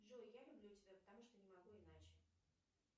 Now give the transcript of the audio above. джой я люблю тебя потому что не могу иначе